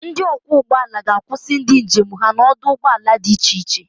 Ndị ọkwọ ụgbọ ala ga-akusi ndị njem ha n'ọdụ ụgbọ ala di iche-che.